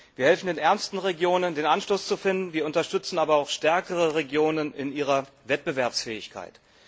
Wir helfen den ärmsten Regionen, den Anschluss zu finden, wir unterstützen aber auch stärkere Regionen in ihrer Wettbewerbsfähigkeit.